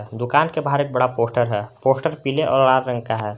दुकान के बाहर एक बड़ा पोस्टर है पोस्टर पीले और लाल रंग का है।